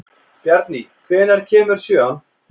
Bjarný, hvenær kemur sjöan?